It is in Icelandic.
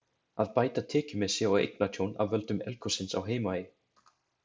Að bæta tekjumissi og eignatjón af völdum eldgossins á Heimaey.